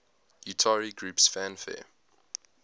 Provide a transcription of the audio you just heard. utari groups fanfare